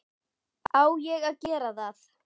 Á ég að gera það?